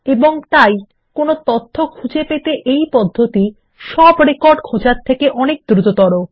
এবং তাই কোনো তথ্য পেতে এই পদ্ধতি সব রেকর্ড খোঁজার তুলনায় অনেক দ্রুততর